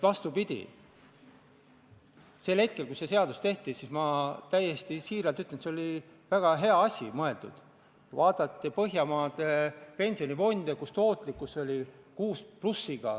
Hea ettekandja!